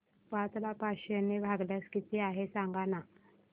पाच ला पाचशे ने भागल्यास किती आहे सांगना